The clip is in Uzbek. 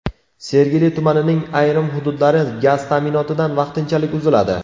Sergeli tumanining ayrim hududlari gaz ta’minotidan vaqtinchalik uziladi.